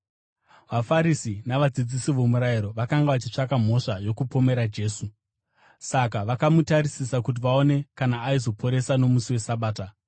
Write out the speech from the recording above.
VaFarisi navadzidzisi vomurayiro vakanga vachitsvaka mhosva yokupomera Jesu, saka vakamutarisisa kuti vaone kana aizoporesa nomusi weSabata.